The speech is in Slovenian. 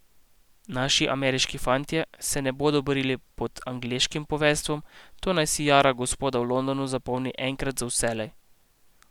Naši ameriški fantje se ne bodo borili pod angleškim poveljstvom, to naj si jara gospoda v Londonu zapomni enkrat za vselej.